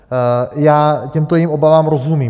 Já těmto jejich obavám rozumím.